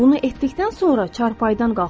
Bunu etdikdən sonra çarpayıdan qalxıram.